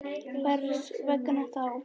Hvers vegna þá?